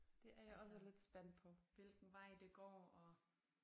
Altså hvilken vej det går og